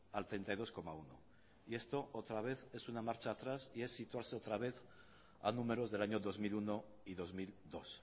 al treinta y dos coma uno y esto otra vez es una marcha atrás y es situarse otra vez a números del año dos mil uno y dos mil dos